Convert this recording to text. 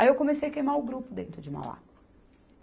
Aí eu comecei a queimar o grupo dentro de Mauá.